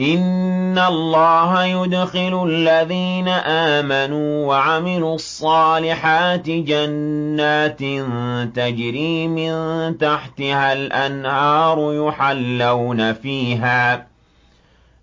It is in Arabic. إِنَّ اللَّهَ يُدْخِلُ الَّذِينَ آمَنُوا وَعَمِلُوا الصَّالِحَاتِ جَنَّاتٍ تَجْرِي مِن تَحْتِهَا الْأَنْهَارُ